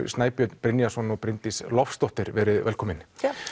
Snæbjörn Brynjarsson og Bryndís Loftsdóttir veriði velkomin